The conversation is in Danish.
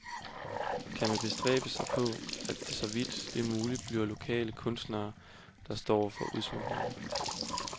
Man bestræber sig på, at det så vidt muligt bliver lokale kunstnere, der står for udsmykningerne.